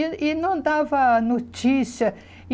E e não dava notícia.